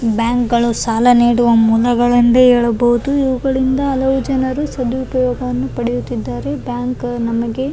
ಈ ಕಟ್ಟಡದ ಮೇಲೆ ಒಂದು ಕೆಂಪು ಬಣ್ಣದ ಬೋರ್ಡ್ ಹಾಕಿದ್ದಾರೆ ಅದರ ಮೇಲೆ ಇಂಡಿಯಾ ಪೋಸ್ಟ್ ಎಂದು ಬರೆದಿದ್ದಾರೆ.